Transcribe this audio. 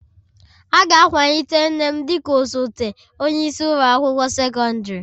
A ga-akwalite nne m dị ka osote onye isi ụlọ akwụkwọ sekọndrị